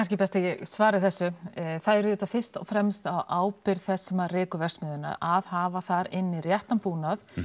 kannski best að ég svari þessu það er auðvitað fyrst og fremst á ábyrgð þess sem rekur verksmiðjuna að hafa þar inni réttann búnað